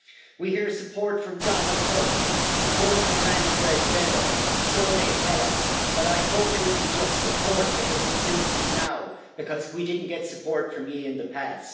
We hear support from Donald Tusk, support from Manfred Weber, so they tell us, but I hope it isn't just support because it suits them now, because we didn't get support from you in the past.